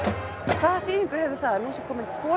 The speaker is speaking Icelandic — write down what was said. hvaða þýðingu hefur það að nú sé komin kona